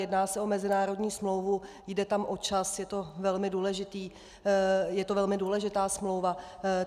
Jedná se o mezinárodní smlouvu, jde tam o čas, je to velmi důležitá smlouva.